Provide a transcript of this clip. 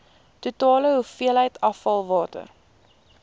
totale hoeveelheid afvalwater